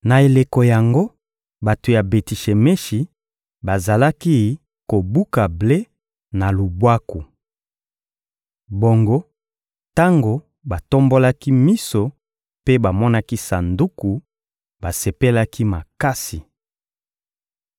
Na eleko yango, bato ya Beti-Shemeshi bazalaki kobuka ble, na lubwaku. Bongo tango batombolaki miso mpe bamonaki Sanduku, basepelaki makasi.